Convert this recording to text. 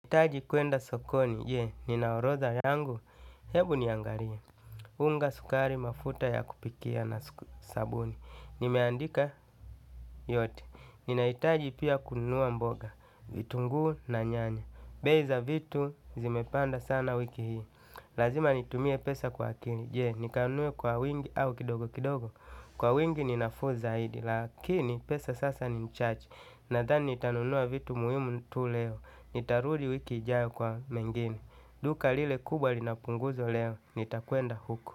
Taji kuenda sokoni, je, nina orodha yangu? Hebu niangalie, unga, sukari, mafuta ya kupikia na sabuni. Nimeandika yote, ninaitaji pia kununua mboga, vitunguu na nyanya. Bei za vitu zimepanda sana wiki hii, lazima nitumie pesa kwa akili. Je, nikanunue kwa wingi au kidogo kidogo? Kwa wingi ni nafuu zaidi lakini pesa sasa ni chache, nadhani nitanunua vitu muhimu tu leo. Nitarudi wiki ijayo kwa mengine. Duka lile kubwa lina punguzo leo, nitakwenda huko.